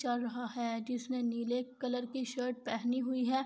جسنے نیلے کلر کی شرٹ پہنی ہی ہے